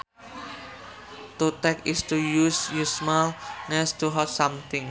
To tack is to use small nails to hold something